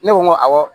Ne ko n ko awɔ